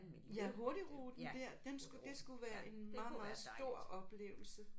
Ja hurtigruten der? Den skulle det skulle være en meget meget stor oplevelse